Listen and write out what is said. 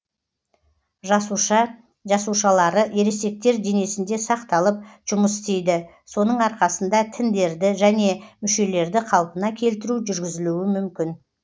жасуша жасушалары ересектер денесінде сақталып жұмыс істейді соның арқасында тіндерді және мүшелерді қалпына келтіру жүргізілуі мүмкін